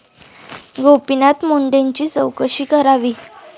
गोपीनाथ मुंडेंची चौकशी करावी'